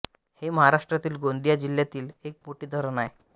हे महाराष्ट्रातील गोंदिया जिल्ह्यातील एक मोठे धरण आहे